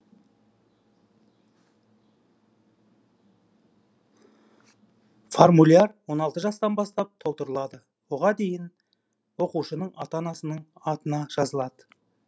формуляр он алты жастан бастап толтырылады оған дейін оқушының ата анасының атына жазылады